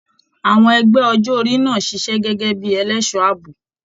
Àwọn ẹgbẹ ọjọ orí náà ṣiṣẹ gẹgẹ bíi ẹlẹṣọ ààbò.